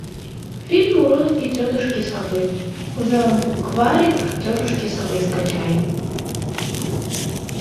фильм уроки тетушки совы за букварик тетушки совы скачай